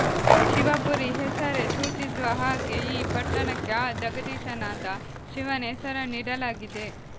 ಶಿವಪುರಿ ಹೆಸರೇ ಸೂಚಿಸುವ ಹಾಗೆ ಈ ಪಟ್ಟಣಕ್ಕೆ ಆ ಜಗದೀಶನಾದ ಶಿವನ ಹೆಸರನ್ನು ಇಡಲಾಗಿದೆ